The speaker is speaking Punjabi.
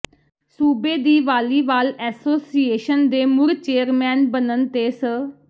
ਸੂਬੇ ਦੀ ਵਾਲੀਵਾਲ ਐਸੋਸੀਏਸ਼ਨ ਦੇ ਮੁੜ ਚੇਅਰਮੈਨ ਬਨਣ ਤੇ ਸ